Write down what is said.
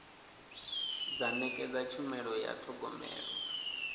dza nekedza tshumelo ya thogomelo